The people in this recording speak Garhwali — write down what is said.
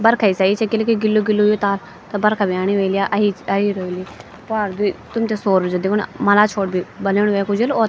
बरखा सी अयि च किले की गिल्लू-गिल्लू हुयुं ताल त बरखा भी आणि वली या अयी रइ वेली प्वार द्वि तुम्थे सौरऊर्जा दिखेणु मला छोर भी बलेनु वेक उजलू और --